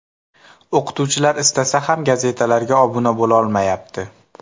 O‘qituvchilar istasa ham gazetalarga obuna bo‘lolmayapti.